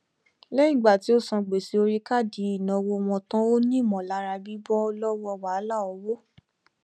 lẹyìn ìgbà tí ó san gbèsè orí káàdì ìnáwó wọn tán ó ní ìmọlára bíbọ lọwọ wàhálà owó